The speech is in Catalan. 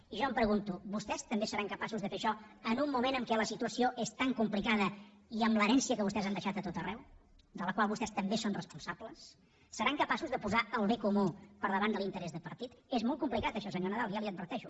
i jo em pregunto vostès també seran capaços de fer això en un moment en què la situació és tan complicada i amb l’herència que vostès han deixat a tot arreu de la qual vostès també són responsables seran capaços de posar el bé comú per davant de l’interès de partit és molt complicat això senyor nadal ja li ho adverteixo